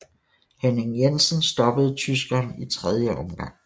Henning Jensen stoppede tyskeren i 3 omgang